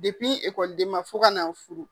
fo ka na n furu.